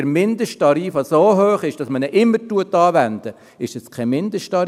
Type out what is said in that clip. Wenn der Mindesttarif so hoch ist, dass man ihn anwendet, dann ist es kein Mindesttarif.